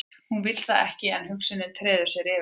Hún vill það ekki en hugsunin treður sér yfir allar aðrar.